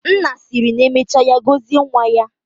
Nna siri na emecha ya gozie nwa ya.